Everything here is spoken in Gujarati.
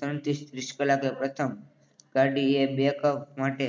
ત્રણ ત્રીસ કલાકે પ્રથમ ગાડીએ બેકઅપ માટે